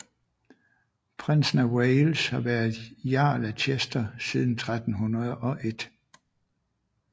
Prinsen af Wales har været Jarl af Chester siden 1301